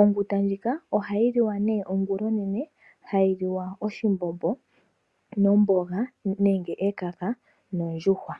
Onguta ndjika ohayi liwa nee ongula onene, hayi liwa oshimbombo, omboga nenge ekaka nondjuhwa